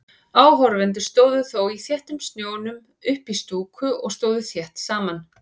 Áhorfendur stóðu þó í þéttum snjónum uppí stúku og stóðu þétt saman.